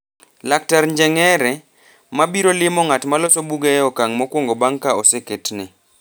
Laktar Njeng’ere, ma biro limo ng’at ma loso buge e okang’ mokwongo bang’ ka oseketne,